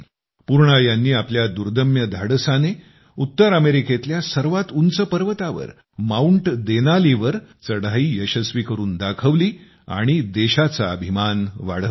पूर्णा यांनी आपल्या दुदर्म्य धाडसाने उत्तर अमेरिकेतल्या सर्वात उंच पर्वतावर माउंट देनालीवर चढाई यशस्वी करून दाखवली आणि देशाचा अभिमान वाढवला आहे